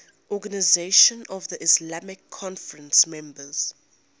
organisation of the islamic conference members